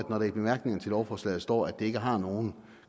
når der i bemærkningerne til lovforslaget står at det ikke har nogen